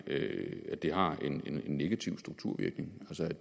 at det har en negativ strukturvirkning